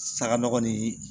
Saga nɔgɔ ni